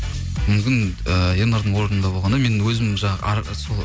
мүмкін ыыы ернардың орнында болғанда мен өзім жаңа сол